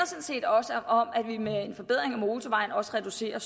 set også om at vi med en forbedring af motorvejen også reducerer